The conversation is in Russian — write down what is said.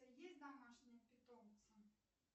есть домашние питомцы